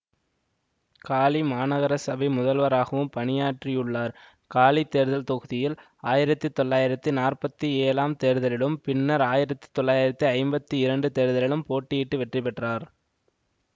காலி மாநகரசபை முதல்வராகவும் பணியாற்றியுள்ளார் காலி தேர்தல் தொகுதியில் ஆயிரத்தி தொளாயிரத்தி நாற்பத்தி ஏழாம் தேர்தலிலும் பின்னர் ஆயிரத்தி தொளாயிரத்தி ஐம்பத்தி இரண்டு தேர்தலிலும் போட்டியிட்டு வெற்றி பெற்றார்